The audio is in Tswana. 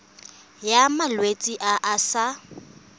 ya malwetse a a sa